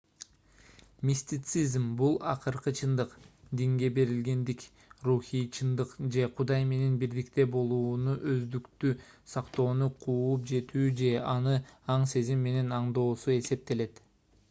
мистицизм бул акыркы чындык динге берилгендик рухий чындык же кудай менен бирдикте болууну өздүктү сактоону кууп жетүү же аны аң-сезим менен аңдоосу эсептелет